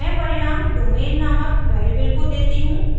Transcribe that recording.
मैं परिणाम domain नामक वेरिएबल को देती हूँ